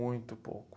Muito pouco.